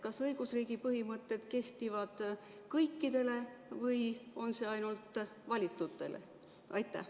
Kas õigusriigi põhimõtted kehtivad kõikidele või ainult valitutele?